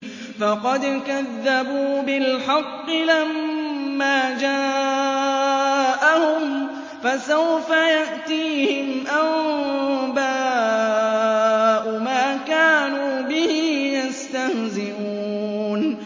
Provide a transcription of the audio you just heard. فَقَدْ كَذَّبُوا بِالْحَقِّ لَمَّا جَاءَهُمْ ۖ فَسَوْفَ يَأْتِيهِمْ أَنبَاءُ مَا كَانُوا بِهِ يَسْتَهْزِئُونَ